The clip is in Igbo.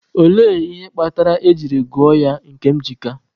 Olee ihe kpatara e jiri gụọ ya Nkemjika?